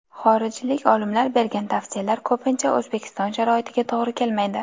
Xorijlik olimlar bergan tavsiyalar ko‘pincha O‘zbekiston sharoitiga to‘g‘ri kelmaydi.